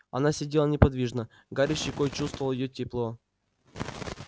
она сидела неподвижно гарри щекой чувствовал её тепло